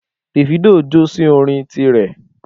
Davido jó sí orin ti rẹ̀